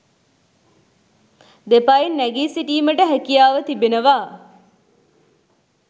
දෙපයින් නැගී සිටීමට හැකියාව තිබෙනවා.